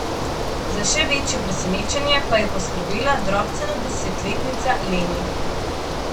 Za še večje presenečenje pa je poskrbela drobcena desetletnica Leni.